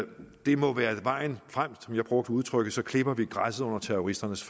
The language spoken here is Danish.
det må være vejen frem jeg brugte udtrykket at så klipper vi græsset under terroristernes